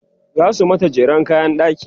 zasu mata jeren kayan ɗaki